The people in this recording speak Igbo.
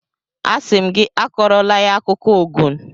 Asị m gị akọrọla ya akụkọ Ogun!